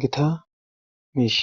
gita miisha